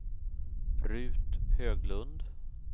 Rut Höglund